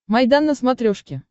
майдан на смотрешке